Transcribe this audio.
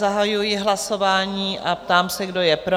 Zahajuji hlasování a ptám se, kdo je pro?